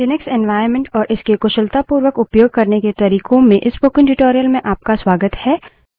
Linux environment और इसके कुशलतापूर्वक उपयोग करने के तरिकों में इस spoken tutorial में आपका स्वागत है